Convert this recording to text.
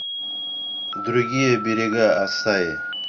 другие берега ассаи